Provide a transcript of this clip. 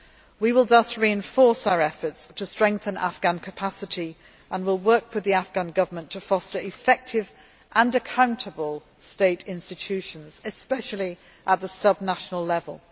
We will thus reinforce our efforts to strengthen Afghan capacity and will work with the Afghan Government to foster effective and accountable state institutions, especially at the sub national level.